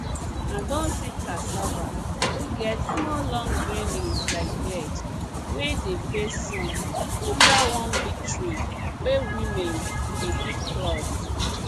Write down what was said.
i don see cassava wey get small long green leaves like beard wey dey face sun under one big tree wey women dey keep cloth